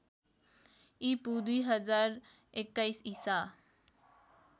ईपू १०२१ ईसा